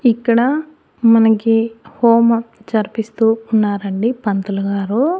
ఇక్కడ మనకి హోమం జరిపిస్తూ ఉన్నారండి పంతులుగారు.